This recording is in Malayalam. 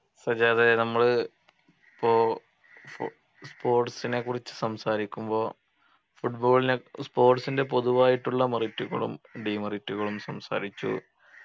സജാദേ നമ്മള് പ്പോ spo sports നെക്കുറിച്ച് സംസാരിക്കുമ്പോ football നെ sports ൻ്റെ പൊതുവായിട്ടുള്ള merit കളും demerit കളും സംസാരിച്ചു